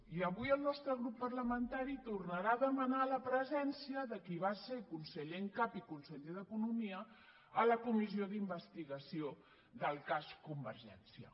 i avui el nostre grup parlamentari tornarà a demanar la presència de qui va ser conseller en cap i conseller d’economia a la comissió d’investigació del cas convergència